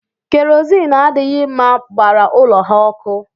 Kerozini adịghị mma gbara ụlọ ha ọkụ